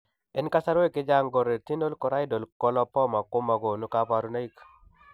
En kasarwek chechang, ko retinochoroidal coloboma ko magonu kabarunaik